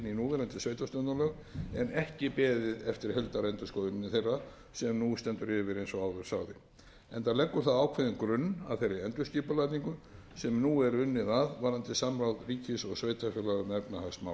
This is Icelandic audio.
núverandi sveitarstjórnarlög en ekki beðið eftir heildarendurskoðun þeirra sem nú stendur yfir eins og áður sagði enda leggur það ákveðinn grunn að þeirri endurskipulagningu sem nú er unnið að varðandi samráð ríkis og sveitarfélaga um